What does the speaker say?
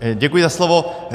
Děkuji za slovo.